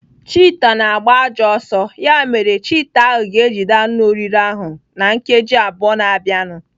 Chita na-agba ajọ ọsọ. Ya mere chita ahụ ga-ejide anụ oriri ahụ na nkeji abụọ na-abịanụ.